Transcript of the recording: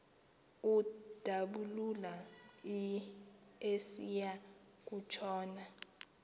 udabula esiya kutshona